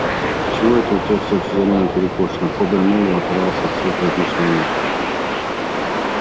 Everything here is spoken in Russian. чего это у тебя вся физиономия перекошена хобер мэллоу оторвался от своих размышлений